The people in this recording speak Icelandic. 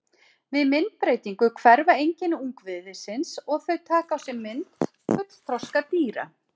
Við myndbreytingu hverfa einkenni ungviðisins og þau taka á sig mynd fullþroska dýra.